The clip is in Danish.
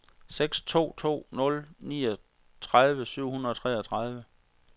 seks to to nul niogtredive syv hundrede og treogtredive